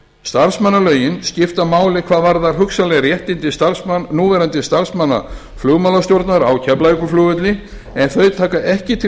starfsmannalögin skipta máli hvað varðar hugsanleg réttindi núverandi starfsmanna flugmálastjórnar á keflavíkurflugvelli en þau taka ekki til